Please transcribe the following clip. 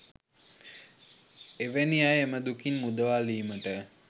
එවැනි අය එම දුකින් මුදවාලීමට